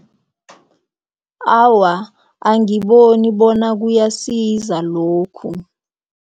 Awa, angiboni bona kuyasiza lokhu.